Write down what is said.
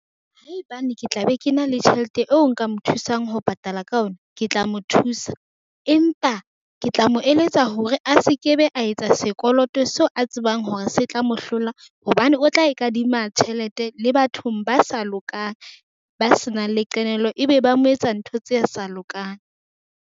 Haebane ke tla be ke na le tjhelete eo nka mo thusang ho patala ka ona. Ke tla mo thusa, empa ke tla mo eletsa hore a se ke be, a etsa sekoloto seo a tsebang hore se tla mo hlola. Hobane o tla e kadima tjhelete le bathong ba sa lokang. Ba se nang le qenehelo ebe ba mo etsa ntho tse sa lokang.